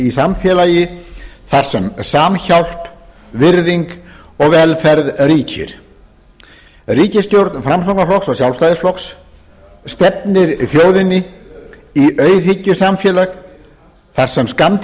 í samfélagi þar sem samhjálp virðing og velferð ríkir ríkisstjórn framsóknarflokks og sjálfstæðisflokks stefnir þjóðinni í auðhyggjusamfélag þar sem